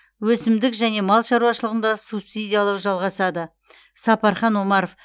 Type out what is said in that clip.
өсімдік және мал шаруашылығында субсидиялау жалғасады сапархан омаров